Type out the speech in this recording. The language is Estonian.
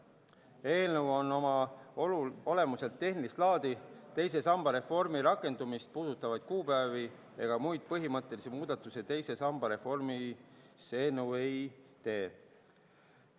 Eelnõu on oma olemuselt tehnilist laadi, teise samba reformi rakendumist puudutavaid kuupäevi ega muid põhimõttelisi muudatusi teise samba reformis see eelnõu ei tee.